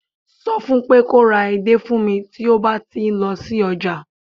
so fún pé kò ra edé fún mi ti o ba ti lọ sí ọjà